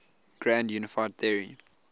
grand unified theory